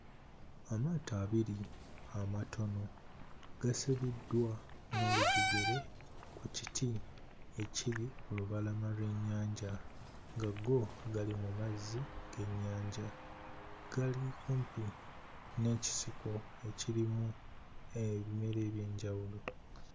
Amaato abiri amatono gasibiddwa n'olujegere ku kiti ekiri ku lubalama lw'ennyanja nga go gali mu mazzi g'ennyanja. Gali kumpi n'ekisiko ekirimu ebimera eby'enjawulo.